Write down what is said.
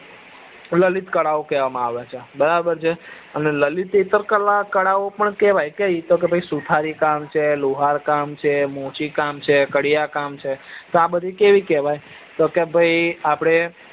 લલિત કળાઓ કેવા આવે છે બરાબર છે અને લલિત ઇથર કળાઓ પણ કેવાય કે ભાઈ સુથારી કામ છે લોહાર કામ છે મોચી કામ છે કડિયા કામ છે તો આ બધી કેવી કેવાય તો કે ભાઈ આપડે